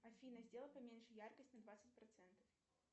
афина сделай поменьше яркость на двадцать процентов